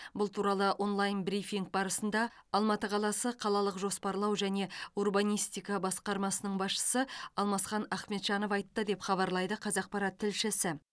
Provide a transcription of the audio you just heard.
бұл туралы онлайн брифинг барысында алматы қаласы қалалық жоспарлау және урбанистика басқармасының басшысы алмасхан ахмеджанов айтты деп хабарлайды қазақпарат тілшісі